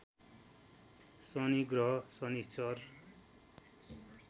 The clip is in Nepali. शनि ग्रह शनिश्चर